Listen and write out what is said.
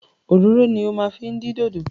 Òróró ni o máa fi din dodo.